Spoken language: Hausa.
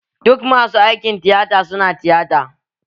Duk masu aikin tiyata su na tiyata.